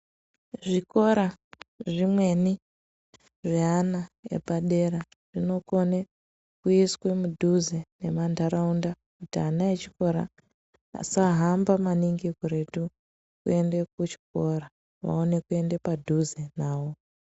Zvikora zvimweni zveana epadera zvinokone kuiswe mudhuze nemantaraunda kuti ana echikora asahamba maningi kuretu kuende kuchikora, vawane kuende padhuze nawo.